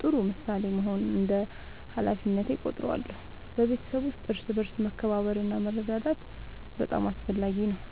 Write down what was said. ጥሩ ምሳሌ መሆን እንደ ሃላፊነቴ እቆጥራለሁ። በቤተሰብ ውስጥ እርስ በርስ መከባበር እና መረዳዳት በጣም አስፈላጊ ነው።